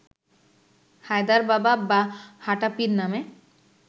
হায়দার বাবা বা হাঁটা পীর নামে